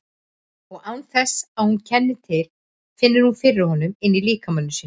Og án þess að hún kenni til finnur hún fyrir honum inní líkama sínum.